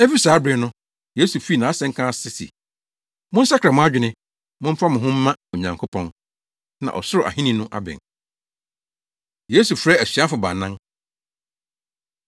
Efi saa bere no, Yesu fii nʼasɛnka ase se, “Monsakra mo adwene, momfa mo ho mma Onyankopɔn na ɔsoro ahenni no abɛn.” Yesu Frɛ Asuafo Baanan